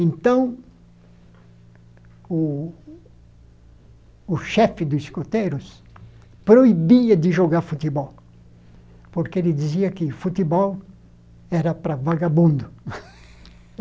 Então, o o chefe dos escoteiros proibia de jogar futebol, porque ele dizia que futebol era para vagabundo.